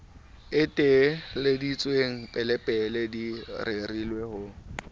eteleditsweng pelepele di rerile ho